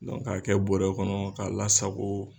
Dɔnku ka kɛ bɔrɛ kɔnɔ k'a lasago